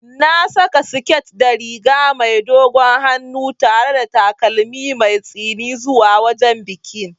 Na saka siket da riga mai dogon hannu tare da takalmin mai tsini zuwa wajen bikin.